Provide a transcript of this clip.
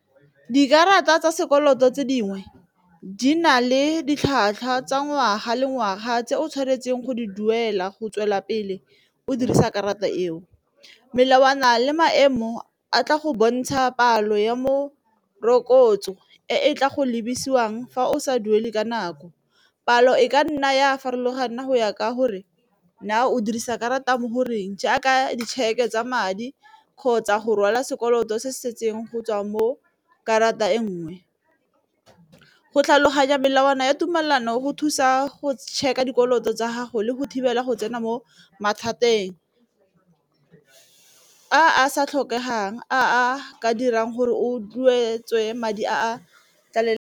Dikarata tsa sekoloto tse dingwe di na le ditlhwatlhwa tsa ngwaga le ngwaga tse o tshwanetseng go di duela go tswelela pele o dirisa karata eo, melawana le maemo a tla go bontsha palo ya mo merokotso e e tla go lebise jwang fa o sa duele ka nako. Palo e ka nna ya farologana go ya ka gore na o dirisa karata mo goreng jaaka ditšheke tsa madi kgotsa go rwala sekoloto se setseng go tswa mo karata e nngwe, go tlhaloganya melawana ya tumelelano go thusa go check-a dikoloto tsa gago le go thibela go tsena mo mathateng a sa tlhokegang a a ka dirang gore o tlogetswe madi a .